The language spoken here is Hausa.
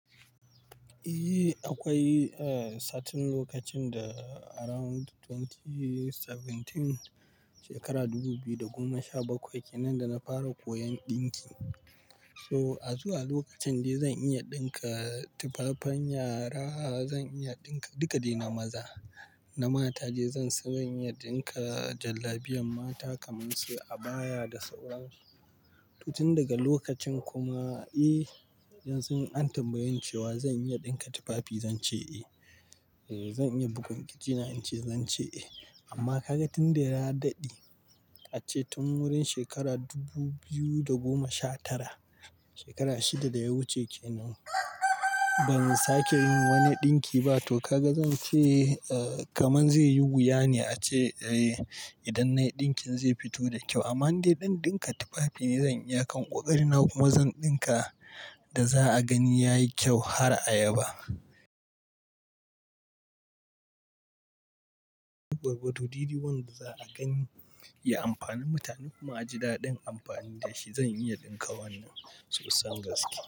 Eh akwai satin lokacin da around 2017 shekara dubu biyu da goma sha bakwai kenan da na fara koyon ɗinki. So a zuwa lokacin dai zan iya ɗinka tufafen yara, zan iya ɗinka duka de na maza na mata dai zan san iya ɗinka jallabiyar mata kamar su abaya da sauran su. Tun daga lokacin kuma eh yanzun an tambayeni cewa zan iya ɗinka tufafi zan ce eh, zan iya bugun kirjina in ce eh. Amma kaga tun da ya daɗe ace tun wurin shekara dubu biyu da goma sha tara shekara shida da ya wuce kenan ban sake wani ɗinki ba. To kaga zan ce kamar zai yi wuya ne ace idan na yi ɗinkin zai fito da kyau amma inde ɗan ɗinka tufafi ne zan iyakan ƙoƙari na kuma zan ɗinka da za a gani ya yi kyau har ayaba. Yauwa to dede wanda za a gani ya amfani mutane kuma a ji daɗin amfani da shi zan iya ɗinka wannan sosan gaske.